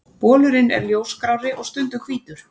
Bolurinn er ljósgrárri og stundum hvítur.